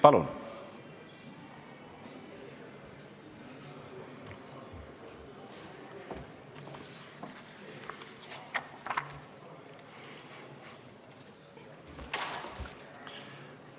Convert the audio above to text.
Palun!